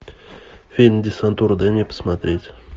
фильм десантура дай мне посмотреть